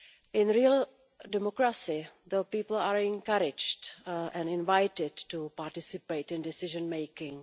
In real democracy, people are encouraged and invited to participate in decision making.